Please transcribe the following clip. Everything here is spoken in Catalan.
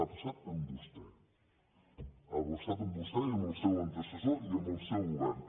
ha passat amb vostè ha passat amb vostè i amb el seu antecessor i amb el seu govern